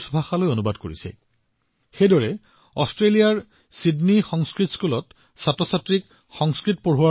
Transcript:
একেদৰে ছিডনী সংস্কৃত বিদ্যালয় হৈছে অষ্ট্ৰেলিয়াৰ অন্যতম মুখ্য প্ৰতিষ্ঠান যত শিক্ষাৰ্থীসকলক সংস্কৃত শিকোৱা হয়